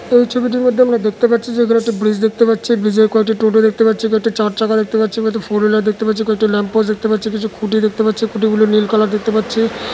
এই ছবিটির মধ্যে আমরা দেখতে পাচ্ছি যে এখানে একটা ব্রিজ দেখতে পাচ্ছি | ব্রিজের কয়েকটি টোটো দেখতে পাচ্ছি | কয়েটি চার চাকা দেখতে পাচ্ছি | এবং একটা ফোর হুইলার দেখতে পাচ্ছি | কয়েকটা ল্যাম্প পোস্ট দেখতে পাচ্ছি | কিছু খুঁটি দেখতে পাচ্ছি খুঁটি গুলো নীল কালার দেখতে পাচ্ছি।